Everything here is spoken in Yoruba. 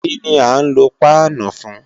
Kíni à ń lo páánù fún?